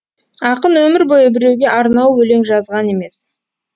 ақын өмір бойы біреуге арнау өлең жазған емес